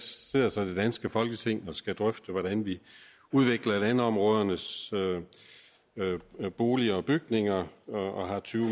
sidder så det danske folketing og skal drøfte hvordan vi udvikler landområdernes boliger og bygninger og har tyve